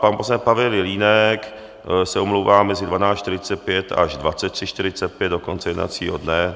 Pan poslanec Pavel Jelínek se omlouvá mezi 12.45 až 23.45 do konce jednacího dne.